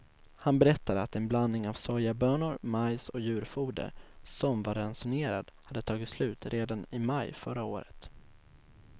Han berättade att en blandning av sojabönor, majs och djurfoder, som var ransonerad, hade tagit slut redan i maj förra året.